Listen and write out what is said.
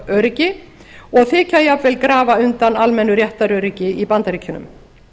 lögöryggi og þykja jafnvel grafa undan almennu réttaröryggi í bandaríkjunum